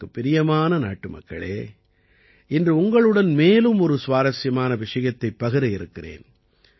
எனக்குப் பிரியமான நாட்டுமக்களே இன்று உங்களுடன் மேலும் ஒரு சுவாரசியமான விஷயத்தைப் பகிர இருக்கிறேன்